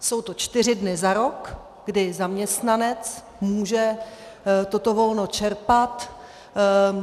Jsou to čtyři dny za rok, kdy zaměstnanec může toto volno čerpat.